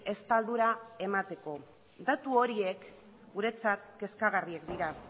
estaldura emateko datu horiek guretzat kezkagarriak dira